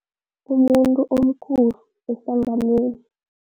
Umuntu omkhulu ehlanganweni.